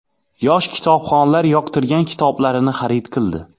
Yosh kitobxonlar yoqtirgan kitoblarini xarid qildi.